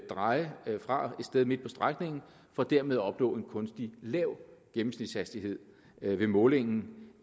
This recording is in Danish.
dreje fra et sted midt på strækningen for dermed at opnå en kunstigt lav gennemsnitshastighed ved målingen